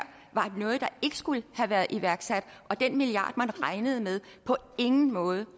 var noget der ikke skulle have været iværksat og at den milliard man regnede med på ingen måde